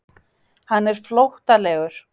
Hann er flóttalegur.